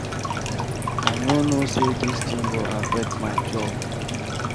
I no know say dis thing go affect my job.